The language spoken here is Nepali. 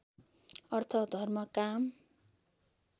अर्थ धर्म काम